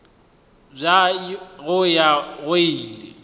bja go ya go ile